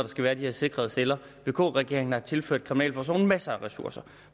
skal være de her sikrede celler vk regeringen har tilført kriminalforsorgen masser af ressourcer